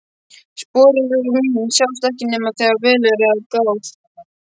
Spor mín sjást ekki nema þegar vel er að gáð.